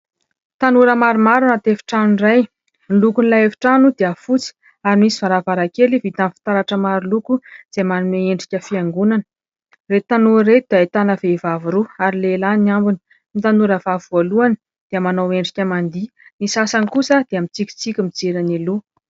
Tanora maromaro anaty efitrano iray, ny lokon'ilay efitrano dia fotsy ary misy varavarankely vita amin'ny fitaratra maro loko, izay manome endrika fiangonana, ireto tanora ireto ahitana vehivavy roa ary lehilahy ny ambiny; ny tanora vavy voalohany dia manao endrika mandihy, ny sasany kosa dia mitsikitsiky mijery eny aloha.